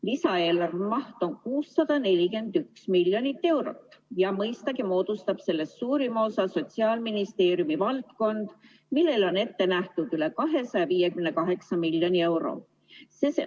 Lisaeelarve maht on 641 miljonit eurot ja mõistagi moodustab sellest suurima osa Sotsiaalministeeriumi valdkond, millele on ette nähtud üle 258 miljoni euro.